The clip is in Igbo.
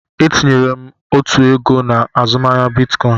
Etinyere m otu oge na azụmaahịa Bitcoin.